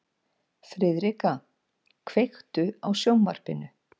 Friðrika, kveiktu á sjónvarpinu.